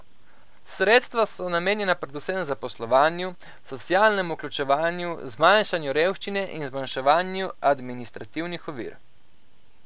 Sredstva so namenjena predvsem zaposlovanju, socialnemu vključevanju, zmanjšanju revščine in zmanjševanju administrativnih ovir.